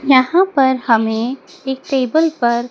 यहां पर हमें एक टेबल पर--